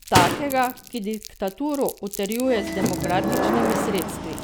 Takega, ki diktaturo utrjuje z demokratičnimi sredstvi.